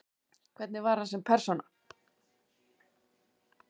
Hvernig var hann sem persóna?